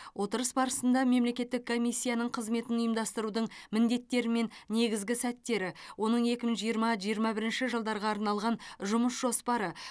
отырыс барысында мемлекеттік комиссияның қызметін ұйымдастырудың міндеттері мен негізгі сәттері оның екі мың жиырма жиырма бірінші жылдарға арналған жұмыс жоспары